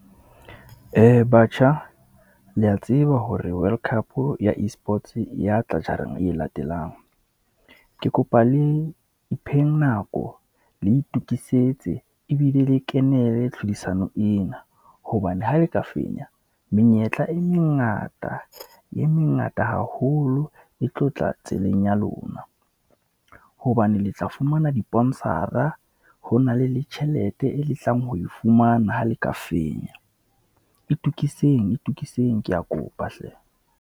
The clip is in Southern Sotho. Batjha le ya tseba hore world cup ya E-sports e ya tla jareng e latelang. Ke kopa le ipheng nako, le itokisetse ebile le kenele tlhodisano ena. Hobane ha le ka fenya, menyetla e mengata, e mengata haholo e tlo tla tseleng ya lona. Hobane le tla fumana diponsara, ho na le le tjhelete e le tlang ho e fumana, ha le ka fenya. E tokiseng, e tokiseng ke ya kopa hle.